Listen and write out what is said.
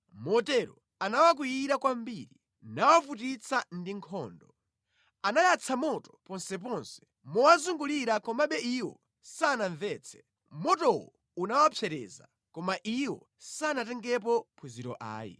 Motero anawakwiyira kwambiri, nawavutitsa ndi nkhondo. Anayatsa moto ponseponse mowazungulira komabe iwo sanamvetse; motowo unawapsereza, koma iwo sanatengepo phunziro ayi.